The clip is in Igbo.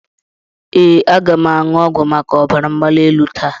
Ee, aga m aṅụ ọgwụ maka ọbara mgbali elu taa.